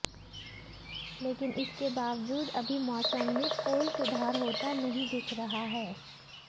लेकिन इसके बावजूद अभी मौसम में कोई सुधार होता नहीं दिख रहा है